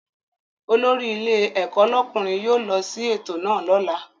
Olórí ilé ẹ̀kọ́ lọ́kùnrin yóò lọ sí ètò náà lọ́la